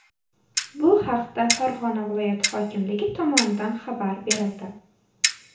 Bu haqda Farg‘ona viloyati hokimligi tomonidan xabar berildi .